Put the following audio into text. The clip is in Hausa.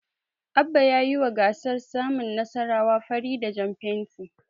Abba ya yiwa gasar saman Nasarawa fari da jan fenti.